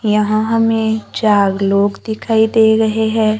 यहां हमें चार लोग दिखाई दे रहे हैं।